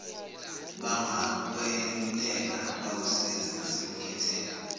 bangakweluleka bakusize nasekukhetheni